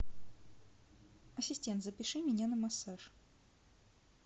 ассистент запиши меня на массаж